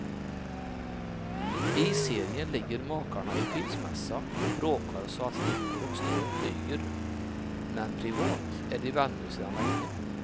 I serien ligger makarna i skilsmässa och bråkar så att stickor och strån flyger, men privat är de vänner sedan länge.